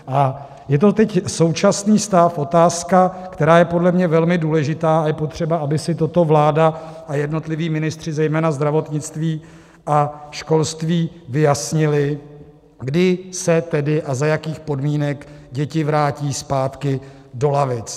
A je to teď - současný stav - otázka, která je podle mě velmi důležitá, a je potřeba, aby si toto vláda a jednotliví ministři, zejména zdravotnictví a školství, vyjasnili, kdy se tedy a za jakých podmínek děti vrátí zpátky do lavic.